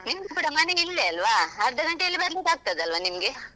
ನಿಂದು ಕೂಡಾ ಮನೆ ಇಲ್ಲೇ ಅಲ್ವಾ ಅರ್ಧಗಂಟೆಯಲ್ಲಿ ಬರ್ಲಿಕ್ಕೆ ಆಗ್ತಾದಲ್ವಾ ನಿಮ್ಗೆ?